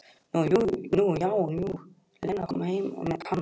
Nú já, jú, Lena kom heim með Kana.